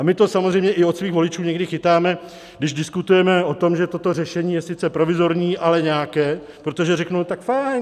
A my to samozřejmě i od svých voličů někdy chytáme, když diskutujeme o tom, že toto řešení je sice provizorní, ale nějaké, protože řeknou: Tak fajn.